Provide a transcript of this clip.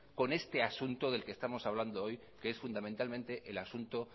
con este asunto del que estamos hablando hoy que es fundamentalmente el asunto